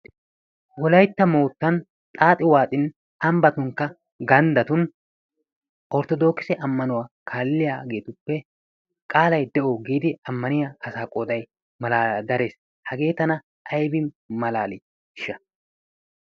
Wolaytta mootan xaaxi waaxin ambatunkka ganddatun orttodookisse ammanuwa kaaliyaageetuppe qaalay de'o giidi ammaniya asaa qooday darees. Hagee tana aybin malaaliisha.